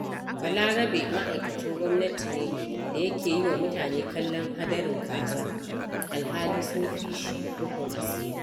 Balarabe ma'aikacin gwamnati ne da yake yi wa mutane kallon hadarin kaza, alhali sun fi shi rufin asiri.